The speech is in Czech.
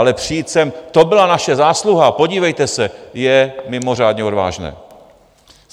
Ale přijít sem - "to byla naše zásluha, podívejte se" - je mimořádně odvážné.